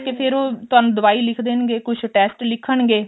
ਕੇ ਫ਼ੇਰ ਉਹ ਤੁਹਾਨੂੰ ਦਵਾਈ ਲਿੱਖ ਦੇਣਗੇ ਕੁੱਝ test ਲਿੱਖਣਗੇ